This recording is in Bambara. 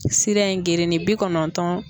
Sira in gerenen bi kɔnɔntɔn